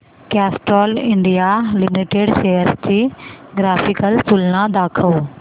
Castrol India limited shares ची graphical तुलना दाखव